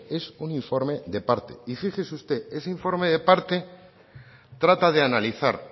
es un informe de parte y fíjese usted ese informe de parte trata de analizar